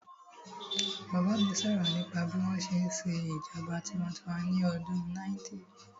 Bàbá mi sọ̀rọ̀ nípa bí wọ́n ṣe n ṣe ìṣèjọba tinwatinwa ní ọdún 90's